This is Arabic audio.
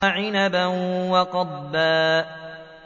وَعِنَبًا وَقَضْبًا